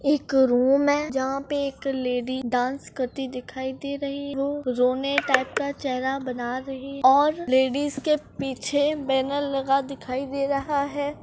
एक रूम में जहां पर एक लेडी डांस करती दिखाई दे रही हो रोने का चेहरा चेहरा बना रही है और लेडिस के पीछे बैनर लगा दिखाई दे रहा है।